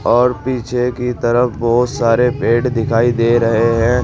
और पीछे की तरफ बहोत सारे पेड़ दिखाई दे रहे हैं।